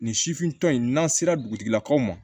Nin sifintɔ in n'an sera dugutigilakaw ma